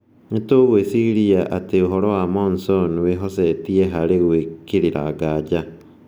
"Nĩtũgwĩciria atĩ ũhoro wa Monson wĩhocetie harĩ gwĩkĩrĩra nganja.